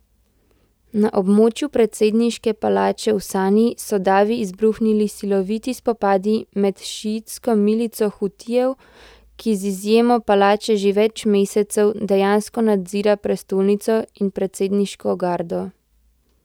Na območju predsedniške palače v Sani so davi izbruhnili siloviti spopadi med šiitsko milico Hutijev, ki z izjemo palače že več mesecev dejansko nadzira prestolnico, in predsedniško gardo.